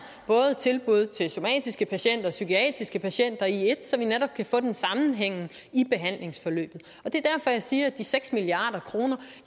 tilbud til somatiske patienter og psykiatriske patienter i ét så vi netop kan få sammenhæng i behandlingsforløbet det er derfor jeg siger at de seks milliard kroner